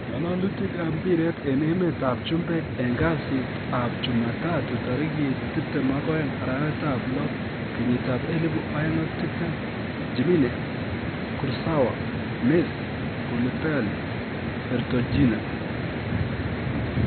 Ng,alalutik ab mpiret en emet ab chumbek en kasitab chumatatu tarikit 22.06.2020: Jimenez, Kurzawa, Messi, Koulibaly, Vertonghen